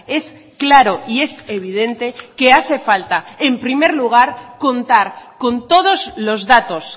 es claro y es evidente que hace falta en primer lugar contar con todos los datos